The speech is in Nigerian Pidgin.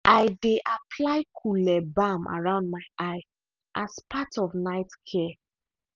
i dey apply cule balm around my eye as part of night care.